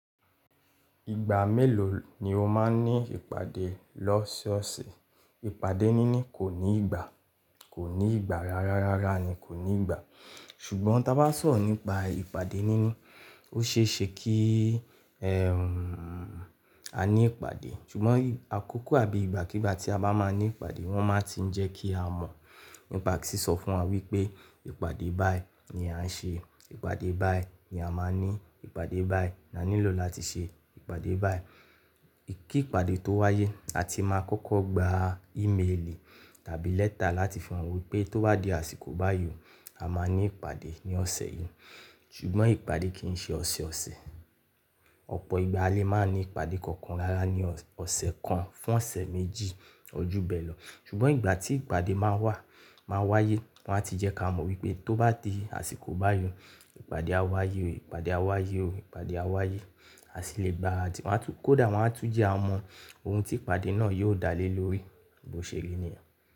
Ìgbà mélòó ni o máa ń ní ìpàdé lọ́sọ̀ọ̀sẹ̀? Ìpàdé níní kò ní ìgbà, kò ní ìgbà. Rárá, rárá ni kò ní ìgbà. Ṣùgbọ́n tí a bá sọ̀rọ̀ nípa ìpàdé níní, ó ṣe é ṣe kí ẹm, a ní ìpàdé. Ṣùgbọ́n àkókò àbí ìgbàkígbà tí a bá máa ní ìpàdé, wọn máa tiń jẹ́ kí a mọ̀. Ba sì sọ fún wa wípé ìpàdé báyìí ni à ń ṣe, ìpàdé báyìí ni a máa ní, ìpàdé báyìí ni a nílò láti ṣe, ìpàdé báyìí. Kí ìpàdé tó wáyé, a ti máa kọ́kọ́ gba ímelì tàbí lẹ́tà láti fi hàn wípé tó bá di àsìkò báyìí, a máa ní ìpàdé ní ọ̀sẹ̀ yìí. Ṣùgbọ́n ìpàdé kìn ṣe ọ̀sẹ̀ ọ̀sẹ̀. Ọ̀pọ̀ ìgbà a lè máa ní ìpàdé kankan rárá ní ọ̀sẹ̀ kan fún ọ̀sẹ̀ méjì, ojú bẹ́ẹ̀ lọ. Ṣùgbọ́n ìgbà tí ìpàdé máa wá, máa wáyé, wọn á ti jẹ́ ká mọ̀ wípé tó bá di àsìkò báyìí, ìpàdé á wáyé o, ìpàdé á wáyé o, ìpàdé á wáyé. A sì lè gba àti wọn á tún kódà wọn á tún jẹ́ a mọ oun tí ìpàdé náà yóò dá lé lórí. Bí ó ṣe rí nìyẹn.